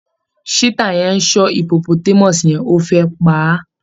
Cheetah yẹn ń ṣọ́ hippotmus yẹn, ó fẹ́ pa á